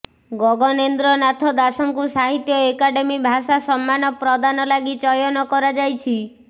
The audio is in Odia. ଗଗନେନ୍ଦ୍ର ନାଥ ଦାଶଙ୍କୁ ସାହିତ୍ୟ ଏକାଡେମୀ ଭାଷା ସମ୍ମାନ ପ୍ରଦାନ ଲାଗି ଚୟନ କରାଯାଇଛି